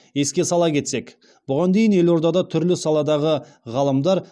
еске сала кетсек бұған дейін елордада түрлі саладағы ғаламдар